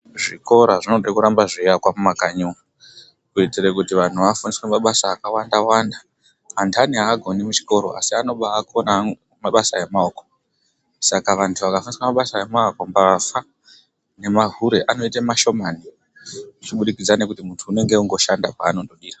Zvikora zvinode kuramba zveiakwa mumakanyi umu,, kuitire kuti vantu vafundiswe mabasa akawanda wanda. Antni aakoni muchikora, asi anokone mabasa emaoko. Saka antu akafundiswe mabasa emaoko, mbavha nemahule anoite ashomani, zvichibudikidzwa ngekuti muntu unenge ongoshanda kweanodira.